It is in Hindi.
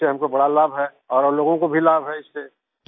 इससे हमको बड़ा लाभ है और और लोगों को भी लाभ है इससे